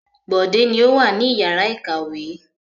Bọ̀dé ni ó wà ní ìyàrá-ìkàwé.